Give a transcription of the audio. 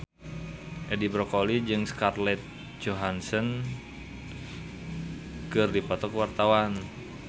Edi Brokoli jeung Scarlett Johansson keur dipoto ku wartawan